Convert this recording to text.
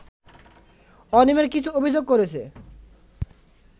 অনিয়মের কিছু অভিযোগ করেছে